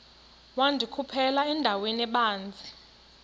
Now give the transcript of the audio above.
wandikhuphela endaweni ebanzi